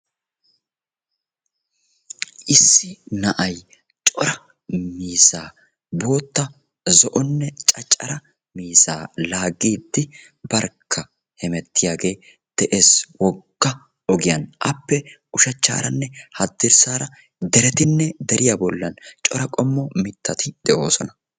issi na'ay cora mizzaa bootta zo'onne caccara mizaa laaggiiddi barkka hemettiyaagee de'ees wogga ogiyan appe ushachchaaranne haddirssaara deretinne deriya bollan cora qommo mittati de'oosona.